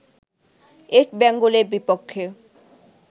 east বেঙ্গলের বিপক্ষে